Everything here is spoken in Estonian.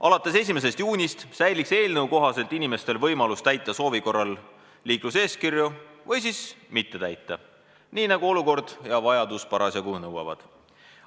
Alates 1. juunist säiliks eelnõu kohaselt inimestel võimalus täita soovi korral liikluseeskirju või siis mitte täita, nii nagu olukord ja vajadus parasjagu nõuavad.